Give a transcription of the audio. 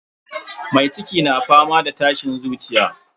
Mai ciki na yawan fama da tashin zuciya.